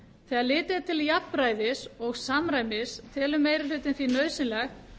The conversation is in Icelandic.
þegar litið er til jafnræðis og samræmis telur meiri hlutinn því nauðsynlegt